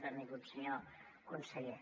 benvingut senyor conseller